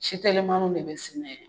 Si Telimanuw le be sɛnɛ